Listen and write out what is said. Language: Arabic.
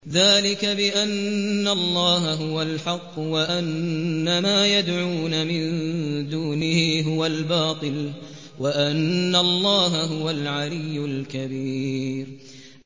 ذَٰلِكَ بِأَنَّ اللَّهَ هُوَ الْحَقُّ وَأَنَّ مَا يَدْعُونَ مِن دُونِهِ هُوَ الْبَاطِلُ وَأَنَّ اللَّهَ هُوَ الْعَلِيُّ الْكَبِيرُ